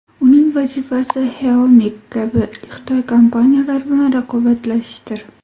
Uning vazifasi Xiaomi kabi xitoy kompaniyalari bilan raqobatlashishdir.